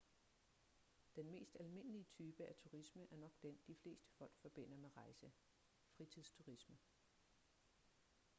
den mest almindelige type af turisme er nok den de fleste folk forbinder med rejse fritidsturisme